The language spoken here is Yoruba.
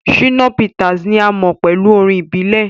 Shina Peters ni a mo pẹlu orin ibile.